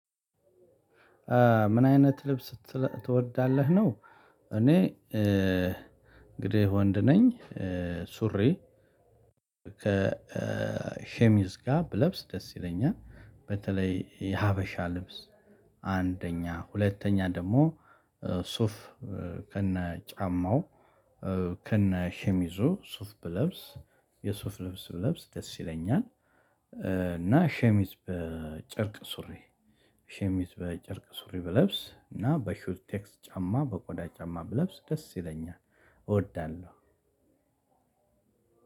ምን አይነት ልብስ ትወዳለህ ነው? እኔ እንግዲህ ወንድ ነኝ። ሱሪ ከሸሚስ ጋር ብለብስ ደስ ይለኛል በተለይ የሀበሻ ልብስ። አንደኛ ሁለተኛ ደግሞ ሱፍ ከነ ጫማው ከነ ሽሚዙ ሱፍ ብለብስ የሱፍ ልብስ ብለብስ ደስ ይለኛል። እና ሸሚዝ በጨርቅ ሱሪ ሸሚዝ በጨርቅ ሱሪ ብለብስ እና በሹዝ ቴክስ ጫማ በቆዳ ጫማ ብለብስ ደስ ይለኛል። እወዳለሁ።